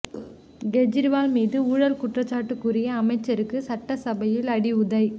கெஜ்ரிவால் மீது ஊழல் குற்றசாட்டு கூறிய அமைச்சருக்கு சட்டசபையில் அடி உதை